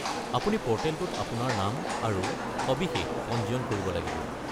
আপুনি প'ৰ্টেলটোত আপোনাৰ নাম আৰু সবিশেষ পঞ্জীয়ন কৰিব লাগিব।